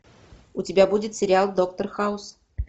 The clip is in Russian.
у тебя будет сериал доктор хаус